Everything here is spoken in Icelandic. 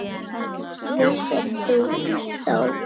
Vissi það þó.